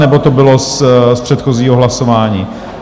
Nebo to bylo z předchozího hlasování?